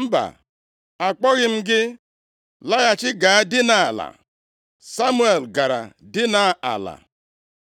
“Mba, akpọghị m gị, laghachi gaa dinaa ala.” Samuel gara dina ala.